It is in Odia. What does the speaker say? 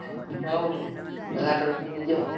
ହଁ ହଁ ଗାଡିରେ ପକେଇକି ନେଇ ଯିବା ଆଉ।